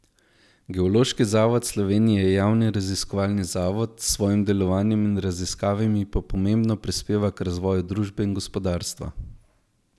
Geološki zavod Slovenije je javni raziskovalni zavod, s svojim delovanjem in raziskavami pa pomembno prispeva k razvoju družbe in gospodarstva.